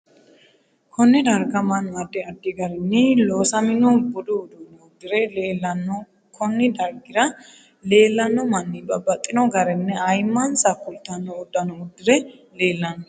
Konne darga mannu addi addi garinni loosamino budu uduune uddire leelanno konni darigira leelanno manni babbaxino garinni ayiimansa kultanno uddano uddire leelanno